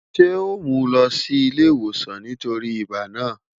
Ṣe o mu u lọ si ile-iwosan nitori ibà naa?